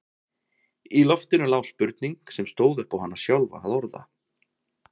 Í loftinu lá spurning sem stóð upp á hana sjálfa að orða.